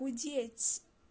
худеть